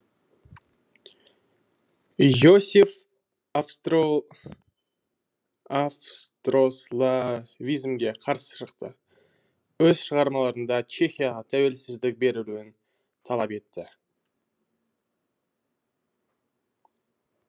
йосеф австрославизмге қарсы шықты өз шығармаларында чехияға тәуелсіздік берілуін талап етті